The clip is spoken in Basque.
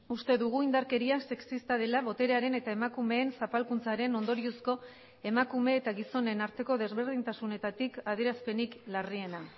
uste dugu indarkeria sexista dela boterearen eta emakumeen zapalkuntzaren ondoriozko emakume eta gizonen arteko desberdintasunetatik adierazpenik larriena